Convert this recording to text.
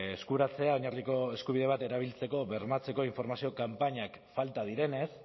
eskuratzea oinarrizko eskubide bat erabiltzeko bermatzeko informazio kanpainak falta direnez